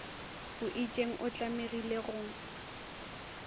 o itšeng o tlamegile go